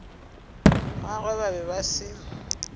gagwe ba be ba se